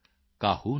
कहत जथा मति मोर